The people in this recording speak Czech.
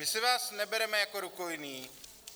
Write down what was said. My si vás nebereme jako rukojmí.